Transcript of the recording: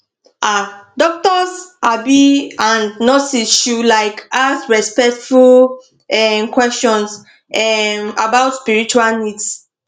ah doctors um and nurses should like ask respectful um questions um about spiritual needs